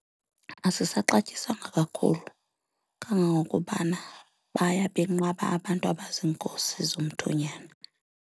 Asisaxatyiswanga kakhulu kangangokubana baya benqaba abantu abaziinkosi zomthonyama.